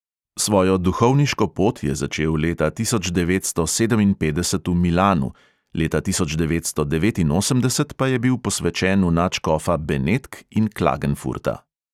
Svojo duhovniško pot je začel leta tisoč devetsto sedeminpetdeset v milanu, leta tisoč devetsto devetinosemdeset pa je bil posvečen v nadškofa benetk in klagenfurta.